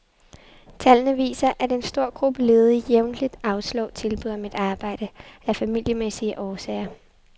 Tallene viser, at en stor gruppe ledige jævnligt afslår tilbud om et arbejde, af familiemæssige årsager.